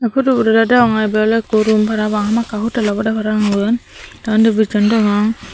phudubot oley degonge ebey oley ekko rum parapang hamakkai hotel obodey parapang iben te undi bicchon degong.